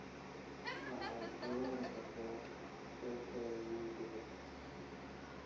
waxaad ciyaari kartaa faylkayga muusiga